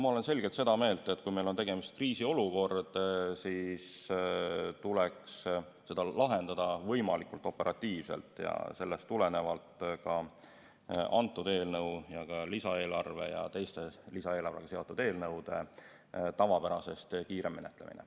Ma olen selgelt seda meelt, et kui meil on tegemist kriisiolukorraga, siis tuleks see lahendada võimalikult operatiivselt, sellest on tulenenud ka kõnealuse eelnõu ja lisaeelarve ja teiste lisaeelarvega seotud eelnõude tavapärasest kiirem menetlemine.